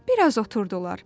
Bir az oturdular.